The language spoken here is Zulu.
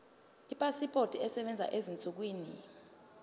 ipasipoti esebenzayo ezinsukwini